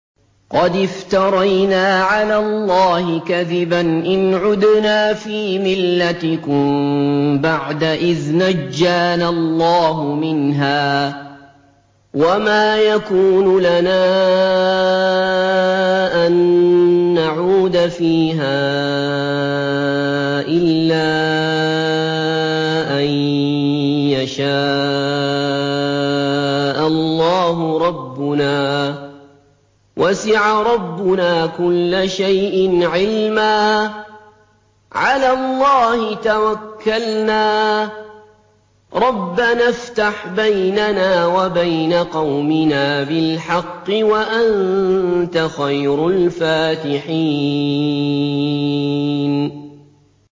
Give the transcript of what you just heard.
قَدِ افْتَرَيْنَا عَلَى اللَّهِ كَذِبًا إِنْ عُدْنَا فِي مِلَّتِكُم بَعْدَ إِذْ نَجَّانَا اللَّهُ مِنْهَا ۚ وَمَا يَكُونُ لَنَا أَن نَّعُودَ فِيهَا إِلَّا أَن يَشَاءَ اللَّهُ رَبُّنَا ۚ وَسِعَ رَبُّنَا كُلَّ شَيْءٍ عِلْمًا ۚ عَلَى اللَّهِ تَوَكَّلْنَا ۚ رَبَّنَا افْتَحْ بَيْنَنَا وَبَيْنَ قَوْمِنَا بِالْحَقِّ وَأَنتَ خَيْرُ الْفَاتِحِينَ